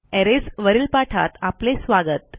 arrays वरील पाठात आपले स्वागत